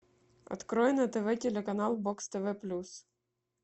открой на тв телеканал бокс тв плюс